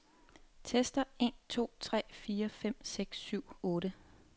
Tester en to tre fire fem seks syv otte.